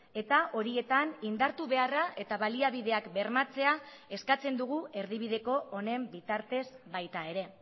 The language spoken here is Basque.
eta horietan indartu beharra eta baliabideak bermatzea eskatzen dugu erdibideko honen bitartez baita ere